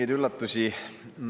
Ei mingeid üllatusi.